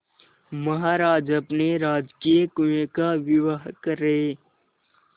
महाराज अपने राजकीय कुएं का विवाह कर रहे